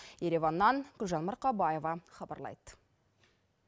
ереваннан гүлжан марқабаева хабарлайды